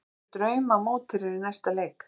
Hverjir eru drauma mótherjar í næsta leik?